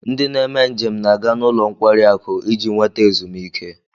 ndi n'eme nje m n'a-aga n'ulo nkwari akụ iji nweta ezumike